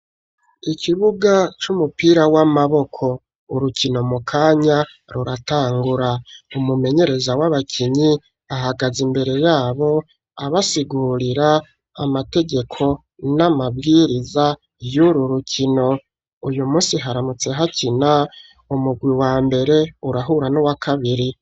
Ikibuga c'umupira w'amaboko urukino mu kanya ruratangura umumenyereza w'abakinyi ahagaze imbere yabo abasigurira amategeko n'amabwiriza y'uru rukino uyu musi haramutse hakina umugwi wa mbere urahura n'uwa kabiri.